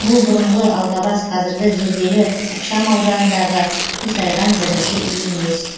бұл бұрынғы алғабас қазіргі зерделі ықшамауданындағы қисайған бірінші үй емес